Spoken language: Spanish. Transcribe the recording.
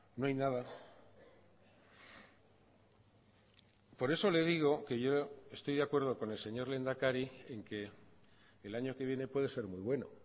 no hay nada por eso le digo que yo estoy de acuerdo con el señor lehendakari en que el año que viene puede ser muy bueno